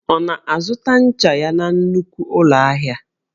Ọ na-azụta ncha ya na nnukwu ụlọ ahịa?